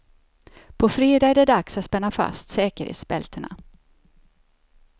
På fredag är det dags att spänna fast säkerhetsbältena.